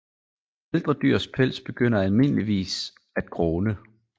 Ældre dyrs pels begynder almindeligvis at gråne